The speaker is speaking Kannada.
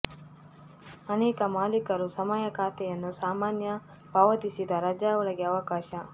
ಅನೇಕ ಮಾಲೀಕರು ಸಮಯ ಖಾತೆಯನ್ನು ಸಾಮಾನ್ಯ ಪಾವತಿಸಿದ ರಜಾ ಒಳಗೆ ಅವಕಾಶ